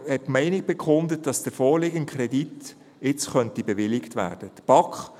Sie bekundete die Meinung, dass der vorliegende Kredit jetzt bewilligt werden könnte.